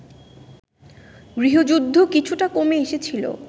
গৃহযুদ্ধ কিছুটা কমে এসেছিল